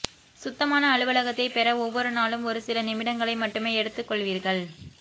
சுத்தமான அலுவலகத்தை பெற ஒவ்வொரு நாளும் ஒரு சில நிமிடங்களை மட்டுமே எடுத்துக்கொள்வீர்கள்